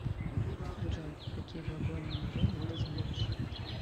джой какие глагольное время ты знаешь